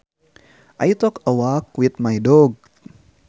I took a walk with my dog